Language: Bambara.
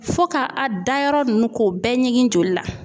Fo ka a dayɔrɔ nunnu k'o bɛɛ ɲini joli la.